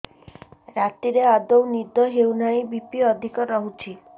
ରାତିରେ ଆଦୌ ନିଦ ହେଉ ନାହିଁ ବି.ପି ଅଧିକ ରହୁଛି